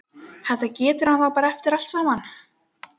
Þetta getur hann þá eftir allt saman!